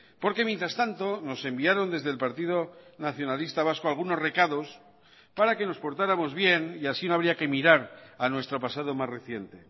porque mientras tanto nos enviaron desde el partido nacionalista vasco algunos recados para que nos portáramos bien y así no habría que mirar a nuestro pasado más reciente